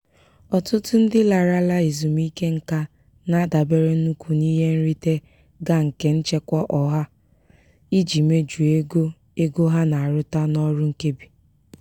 ọtụtụ ndị larala ezumike nka na-adabere nnukwu n'ihe nrite ga nke nchekwa ọha iji mejuo ego ego ha na-arụta n'ọrụ nkebi.